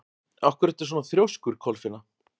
Af hverju ertu svona þrjóskur, Kolfinna?